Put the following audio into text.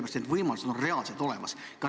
Need võimalused on reaalselt olemas.